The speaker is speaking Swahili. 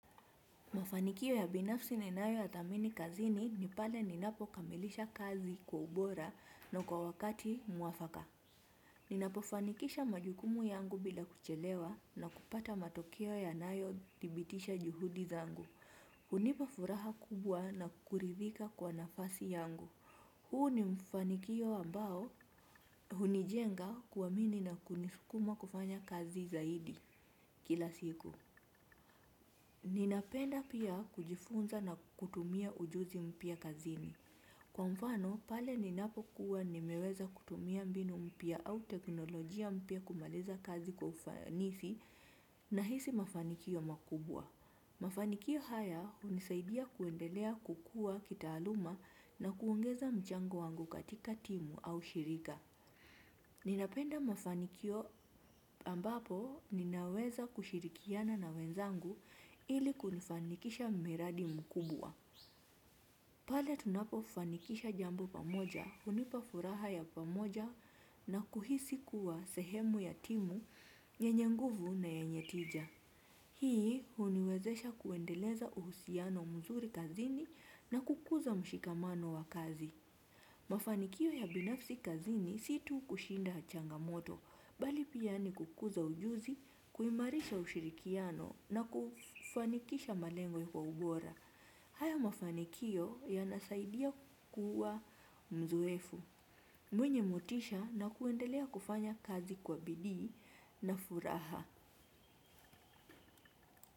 Mafanikio ya binafsi ninayo yadhamini kazini ni pale ninapo kamilisha kazi kwa ubora na kwa wakati mwafaka. Ninapofanikisha majukumu yangu bila kuchelewa na kupata matokeo yanayo dhibitisha juhudi zangu. Hunipa furaha kubwa na kuridhika kwa nafasi yangu. Huu ni mfanikio ambao hunijenga kuamini na kunisukuma kufanya kazi zaidi kila siku. Ninapenda pia kujifunza na kutumia ujuzi mpya kazini. Kwa mfano, pale ninapo kuwa nimeweza kutumia mbinu mpya au teknolojia mpya kumaliza kazi kwa ufanisi nahisi mafanikio makubwa. Mafanikio haya hunisaidia kuendelea kukua kitaaluma na kuongeza mchango wangu katika timu au shirika. Ninapenda mafanikio ambapo ninaweza kushirikiana na wenzangu ili kulifanikisha mradi mkubwa. Pale tunapo fanikisha jambo pamoja, hunipa furaha ya pamoja na kuhisi kuwa sehemu ya timu, nyenye nguvu na yenye tija. Hii huniwezesha kuendeleza uhusiano mzuri kazini na kukuza mshikamano wa kazi. Mafanikio ya binafsi kazini si tu kushinda changamoto, bali pia ni kukuza ujuzi, kuimarisha ushirikiano na kufanikisha malengo kwa ubora. Haya mafanikio yanasaidia kuwa mzoefu. Mwenye motisha na kuendelea kufanya kazi kwa bidi na furaha.